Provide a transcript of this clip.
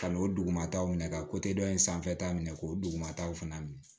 Ka n'o dugumataw minɛ ka dɔ in sanfɛta minɛ k'o dugumataw fana minɛ